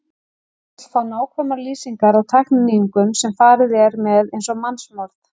Hann vill fá nákvæmar lýsingar á tækninýjungum, sem farið er með eins og mannsmorð!